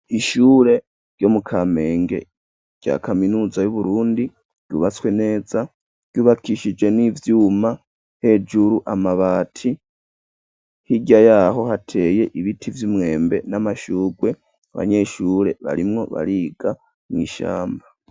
Ishure ryo mu kamenge rya kaminuza y'uburundi ryubatswe neza ryubakishije n'ivyuma hejuru amabati higya yaho hateye ibiti vy'umwembe n'amashugwe abanyeshure barimwo bariga mw'ishamba.